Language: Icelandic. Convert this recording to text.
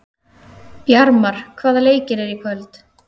Bjarmar, hvaða leikir eru í kvöld?